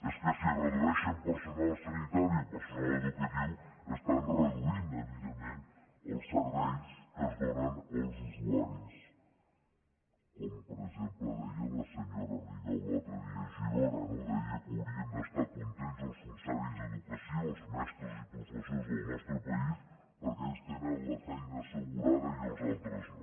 és que si redueixen personal sanitari o personal educatiu estan reduint evidentment els serveis que es donen als usuaris com per exemple deia la senyora rigau l’altre dia a girona no deia que haurien d’estar contents els funcionaris d’educació els mestres i professors del nostre país perquè ells tenen la feina assegurada i els altres no